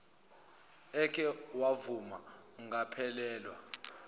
eke wavuma angaphelelwa